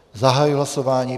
Zahajuji hlasování.